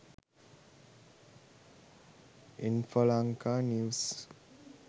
infolanka news